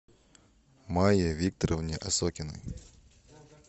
майе викторовне осокиной